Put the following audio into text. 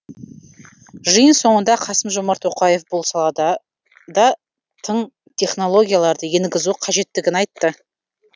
жиын соңында қасым жомарт тоқаев бұл салада да тың технологияларды енгізу қажеттігін айтты